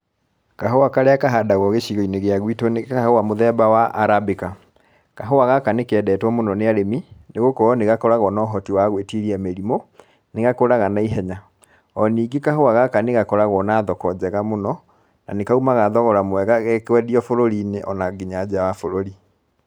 Kahũa karĩa kahandagwo gĩcigo-inĩ kĩa gwitũ nĩ kahũa mũthemba wa Arabica. Kahũa gaka nĩ kendetwo mũno nĩ arĩmi, nĩ gũkorwo nĩ gakoragwo na ũhoti wa gwĩtiria mĩrimũ, nĩ gakũraga naihenya, o ningĩ kahũa gaka nĩ gakoragwo na thoko njega mũno na nĩ kaumaga thogora mwega gekwendio bũrũri-inĩ ona nginya njaa wa bũrũri.